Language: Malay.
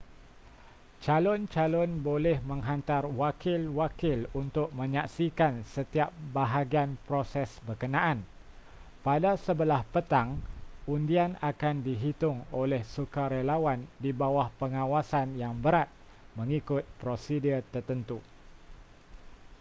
calon-calon boleh menghantar wakil-wakil untuk menyaksikan setiap bahagian proses berkenaan pada sebelah petang undian akan dihitung oleh sukarelawan di bawah pengawasan yang berat mengikut prosedur tertentu